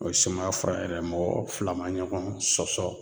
O ye sumaya fura yɛrɛ, mɔgɔ fila ma ɲɔgɔn sɔsɔ